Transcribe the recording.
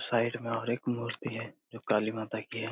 Side में और एक मूर्ति है जो काली माता की है।